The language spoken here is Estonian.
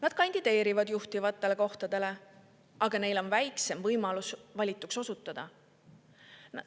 Nad kandideerivad juhtivatele kohtadele, aga neil on väiksem võimalus valituks osutuda.